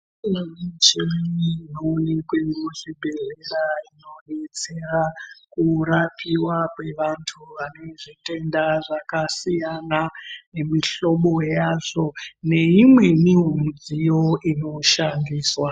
Imweni michini inonekwe muzvibhedhlera inobetsera kurapiva kwevantu vano zvitenda zvakasiyana, nemuhlobo yazvo nemimwenivo midziyo inoshandiswa.